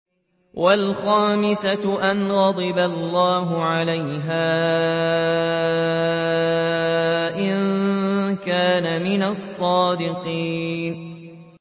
وَالْخَامِسَةَ أَنَّ غَضَبَ اللَّهِ عَلَيْهَا إِن كَانَ مِنَ الصَّادِقِينَ